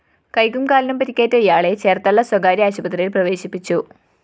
കൈക്കും കാലിനും പരിക്കേറ്റ ഇയാളെ ചേര്‍ത്തല സ്വകാര്യ ആശുപത്രിയില്‍ പ്രവേശിപ്പിച്ചു